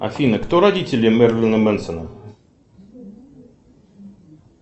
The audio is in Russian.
афина кто родители мерлина менсона